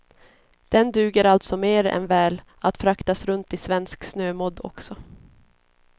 Den duger alltså mer än väl att fraktas runt i svensk snömodd också.